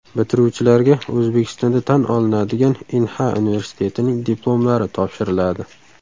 Bitiruvchilarga O‘zbekistonda tan olinadigan Inha universitetining diplomlari topshiriladi.